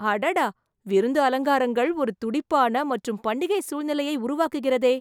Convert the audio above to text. அடடா! விருந்து அலங்காரங்கள் ஒரு துடிப்பான மற்றும் பண்டிகை சூழ்நிலையை உருவாக்குகிறதே